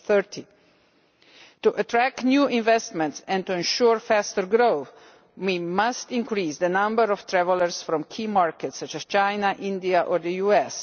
2030. To attract new investment and ensure faster growth, we must increase the number of travellers from key markets such as China, India or the US.